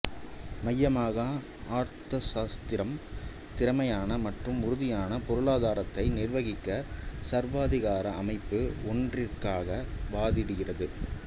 மையமாக அர்த்தசாஸ்திரம் திறமையான மற்றும் உறுதியான பொருளாதாரத்தை நிர்வகிக்க சர்வாதிகார அமைப்பு ஒன்றிற்காக வாதிடுகிறது